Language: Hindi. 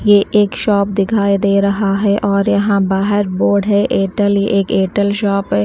ये एक शॉप दिखाई दे रहा है और यहां बाहर बोर्ड है एयरटेल ये एक एयरटेल शॉप है।